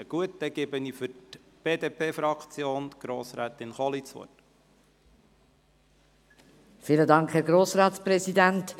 – Gut, dann gebe ich für die BDP-Fraktion Grossrätin Kohli das Wort.